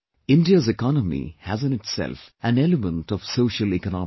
India's economy has in itself an element of social economics